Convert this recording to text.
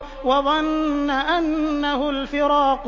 وَظَنَّ أَنَّهُ الْفِرَاقُ